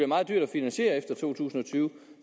meget dyrt at finansiere efter to tusind og tyve